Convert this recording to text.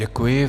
Děkuji.